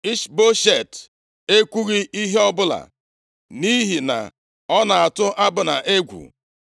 Ishboshet ekwughị ihe ọbụla nʼihi na ọ na-atụ Abna egwu.